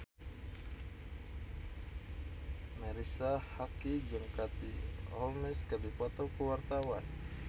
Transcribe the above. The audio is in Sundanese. Marisa Haque jeung Katie Holmes keur dipoto ku wartawan